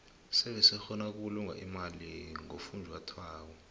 sebe sikgona ukubulunga imali ngofunjathwako